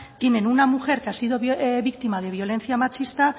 tienen una mujer que ha sido víctima de violencia machista